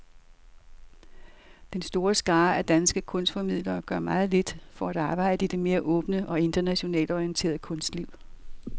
Den store skare af danske kunstformidlere gør meget lidt for at arbejde i det mere åbne og internationalt orienterede kunstliv.